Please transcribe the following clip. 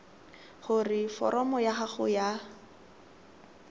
gore foromo ya gago ya